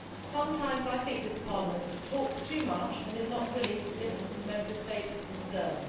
Sometimes I think this Parliament talks too much and is not willing to listen to Member States' concerns.